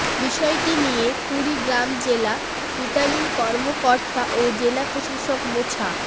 বিষয়টি নিয়ে কুড়িগ্রাম জেলা রিটার্নিং কর্মকর্তা ও জেলা প্রশাসক মোছা